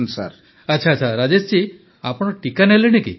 ପ୍ରଧାନମନ୍ତ୍ରୀ ଆଚ୍ଛା ରାଜେଶ ଜୀ ଆପଣ ଟିକା ନେଲେଣି କି